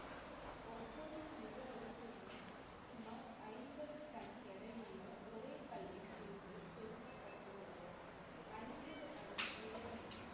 வரிசையும் சுமார் ஐம்பது டன் எடையுள்ள ஒரே கல்லில் இருந்து செதுக்கப்பட்டுள்ளது. ஐம்பது அடி உயரமும்,